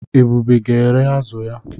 Ebube ga-ere azụ ya.